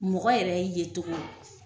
Mɔgɔ yɛrɛ ye togo